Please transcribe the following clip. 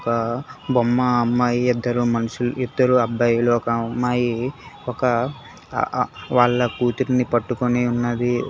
బొమ్మ అమ్మాయి ఇద్దరు మనుషులు ఇద్దరు అబ్బాయిలు ఒక అమ్మాయి ఒక వాళ్ళ కూతురిని పట్టుకొని ఉన్నది.